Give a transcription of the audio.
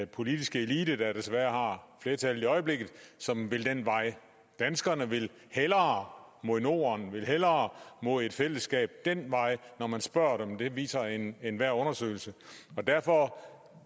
politiske elite der desværre har flertallet i øjeblikket som vil den vej danskerne vil hellere mod norden vil hellere mod et fællesskab den vej når man spørger dem det viser enhver undersøgelse derfor